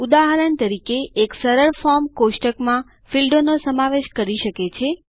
ઉદાહરણ તરીકે એક સરળ ફોર્મ કોષ્ટક માં ફીલ્ડો નો સમાવેશ કરી શકે છે